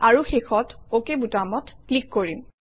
আৰু শেষত অক বুটামত ক্লিক কৰিম